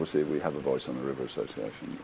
sig og vinsamlegt